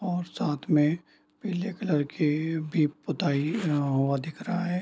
और साथ में पीले कलर की भी पुताई यहाँ-वहाँ दिख रहा है।